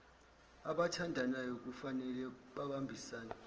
abathandanayo kufane babambisane